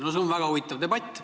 See on väga huvitav debatt.